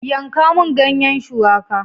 Yanka mun ganyen shuwaka!